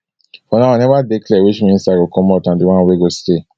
fo now e neva dey clear which minister go comot and di one wey go stay